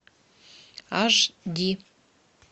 аш ди